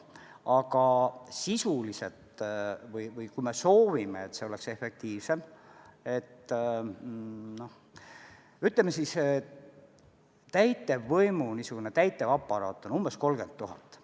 Aga kui me soovime, et see oleks efektiivsem, siis täitevaparaat võiks olla umbes 30 000.